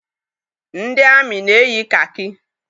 Ndị amị na-eyi kakị.